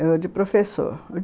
Era de professor.